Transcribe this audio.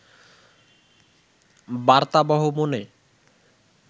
বার্তাবহ মনে